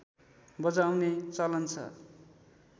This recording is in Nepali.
बजाउने चलन छ